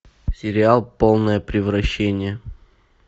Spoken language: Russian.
сериал полное превращение